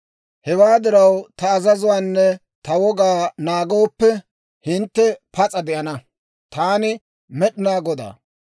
Hewaa diraw ta azazuwaanne ta wogaa naagooppe, hintte pas'a de'ana. Taani Med'inaa Godaa.